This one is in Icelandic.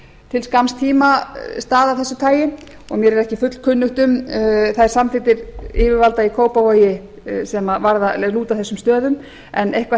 til skamms tíma stað af þessu tagi og mér er ekki fullkunnugt um þær samþykktir yfirvalda í kópavogi sem lúta að þessum stöðum en eitthvað